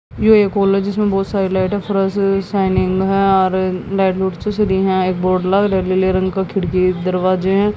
यो एक हॉल है जिसमें बहोत सारी लाइटें फ़रस शाइनिंग है और लाइट एक बोर्ड लग रहे लीले रंग का खिड़की दरवाजे हैं।